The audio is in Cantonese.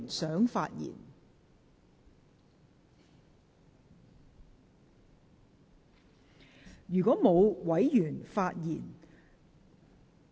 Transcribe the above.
是否有委員想發言？